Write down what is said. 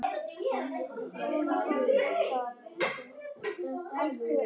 Þetta var fyrsta svar flestra?